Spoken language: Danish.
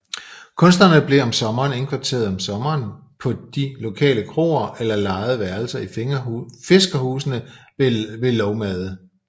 Kunstnerne blev om sommeren indkvarteret om sommeren på de lokale kroer eller lejede værelser i fiskerhusene ved Lågmade